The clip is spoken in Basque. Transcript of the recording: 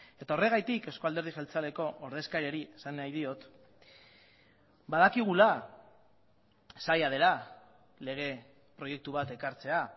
eta horregatik euzko alderdi jeltzaleko ordezkariari esan nahi diot badakigula zaila dela lege proiektu bat ekartzea